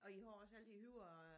Og I har også alle de høje øh